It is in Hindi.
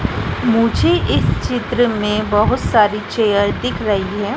मुझे इस चित्र में बहोत सारी चेयर दिख रही है।